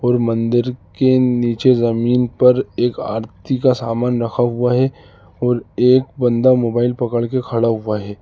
और मंदिर के नीचे जमीन पर एक अर्थी का सामान रखा हुआ हैं और एक बंदा मोबाइल पकड़ के खड़ा हुआ हैं।